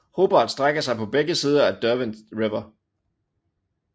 Hobart strækker sig på begge sider af Derwent River